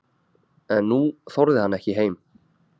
En nú þorði hann ekki heim.